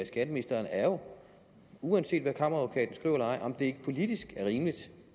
skatteministeren er jo uanset hvad kammeradvokaten skriver eller ej om det ikke politisk er rimeligt